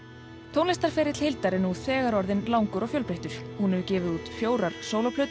tónlistarferill Hildar er nú þegar orðinn langur og fjölbreyttur hún hefur gefið út fjórar